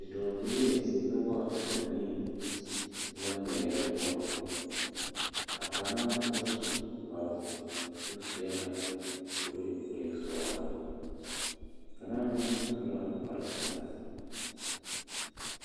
Bidɔbilii noba banii la ŋmeɛrɛ bɔl a kaŋa ba seɛ kparoo kyɛ o seɛ la kuree k'o e sɔglaa kaŋa meŋ su la kpare pelaa.